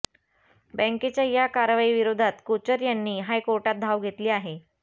बँकेच्या या कारवाईविरोधात कोचर यांनी हायकोर्टात धाव घेतली आहे